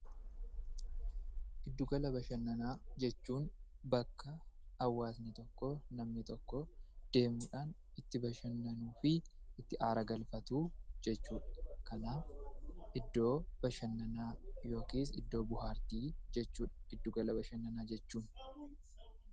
Giddu gala bashannanaa jechuun bakka hawaasni tokko deemuudhaan itti bashannanuufi itti aara galfatu jechuudha. Kanaaf iddoo bashannanaa yookiis iddoo bohaartii jechuudha giddu gala bashannanaa jechuun.